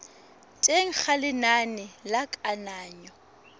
teng ga lenane la kananyo